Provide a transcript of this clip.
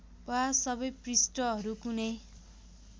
वा सबै पृष्ठहरू कुनै